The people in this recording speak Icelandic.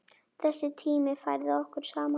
Þessi tími færði okkur saman.